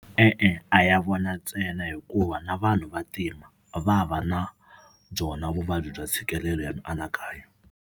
E-e a ya vona ntsena hikuva na vanhu vantima va va na byona vuvabyi bya ntshikelelo wa mianakanyo.